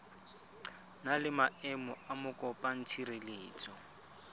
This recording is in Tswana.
na le maemo a mokopatshireletso